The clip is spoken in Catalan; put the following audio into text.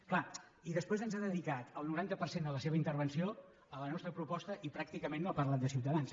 és clar i després ha dedicat el noranta per cent de la seva intervenció a la nostra proposta i pràcticament no ha parlat de ciutadans